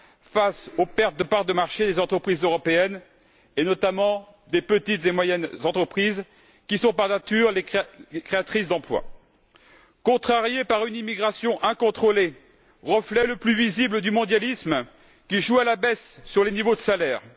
face aux pertes de parts de marchés des entreprises européennes, et notamment des petites et moyennes entreprises, qui sont par nature, les créatrices d'emplois, et contrariée par une immigration incontrôlée, reflet le plus visible du mondialisme qui joue à la baisse sur les niveaux de salaire.